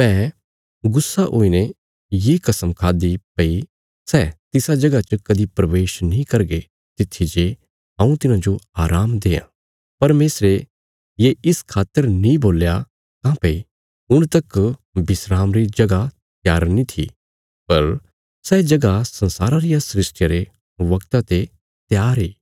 मैं गुस्सा हुईने ये कस्म खाद्दि भई सै तिसा जगह च कदीं प्रवेश नीं करगे तित्थी जे हऊँ तिन्हांजो आराम देआं परमेशरे ये इस खातर नीं बोल्या काँह्भई हुण तक विस्राम री जगह त्यार नीं थी पर सै जगह संसारा रिया सृष्टिया रे बगता ते त्यार इ